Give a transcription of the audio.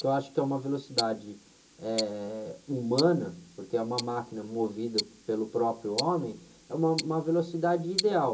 que eu acho que é uma velocidade, eh, humana, porque é uma máquina movida pelo próprio homem, é uma, uma velocidade ideal.